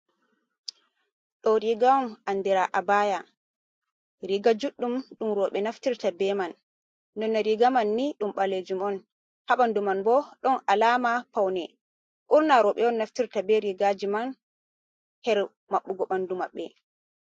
Ɗo riga on anɗira a baya. Riga juɗɗum ɗum roɓe naftirta be man. nonde riga man ni ɗum ɓalejum on. Haɓandu man bo ɗon alama pawne. Ɓurna roɓe on naftirta be rigaji man her maɓɓugo ɓandu maɓɓe.